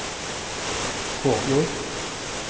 Kåfjord